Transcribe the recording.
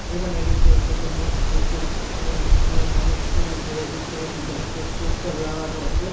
এখানে দেখতে পাচ্ছি একটা মোটরসাইকেল তারপরে অনেকগুলো মানুষ আছে উপরে দেখতে পাচ্ছি ব্যাংক এর পোস্টার লাগানো আছে।